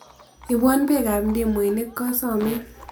Iboiwo beekab ndimuinik ngasomin.